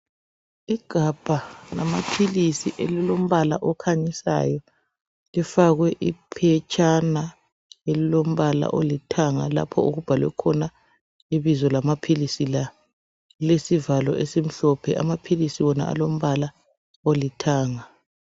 Igabha lamaphilisi elilombala okhanyisayo, lifakwe iphetshana elilombala olithanga lapha okubhalwe khona ibizo lamaphilisi la. Lilesivalo esimhlophe, amaphilisi wona alombala olithanga.